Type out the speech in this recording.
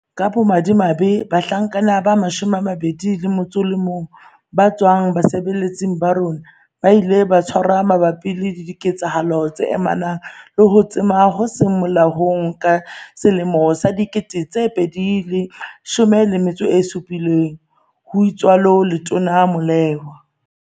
"Ka bomadimabe, bahlanka ba 21 ba tswang basebeletsing ba rona, ba ile ba tshwarwa mabapi le diketsahalo tse amanang le ho tsoma ho seng molaong ka 2017," ho itsalo Letona Molewa.